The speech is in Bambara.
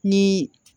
Ni